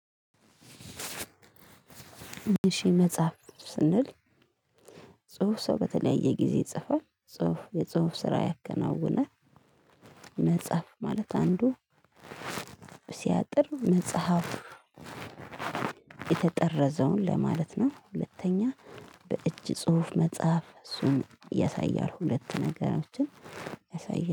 እሺ መጽሐፍ ስንል ጽሁፍ ሰው በተለያየ ጊዜ ይጽፋል። የጽሁፍ ስራ ያከናውናል። መጽሐፍ ማለት አንዱ ሲያጥር መጽሐፉ የተጠረዘውን ለማለት ነው። ሁለተኛ በእጅ ጽሁፍ መጽሐፍ እሱን ያሳያል። ሁለት ነገሮችን ያሳያል።